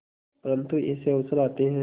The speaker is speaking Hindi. परंतु ऐसे अवसर आते हैं